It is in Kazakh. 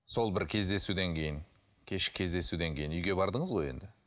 сол бір кездесуден кейін кешкі кездесуден кейін үйге бардыңыз ғой енді